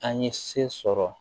An ye se sɔrɔ